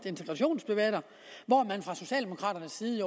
integrationsdebatter hvor man fra socialdemokraternes side i